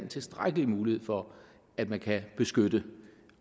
tilstrækkelig mulighed for at man kan beskytte